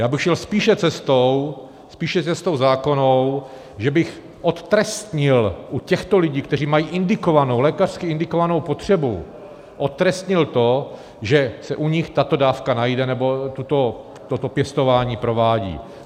Já bych šel spíše cestou, spíše cestou zákonnou, že bych odtrestnil u těchto lidí, kteří mají indikovanou, lékařsky indikovanou potřebu, odtrestnil to, že se u nich tato dávka najde nebo toto pěstování provádí.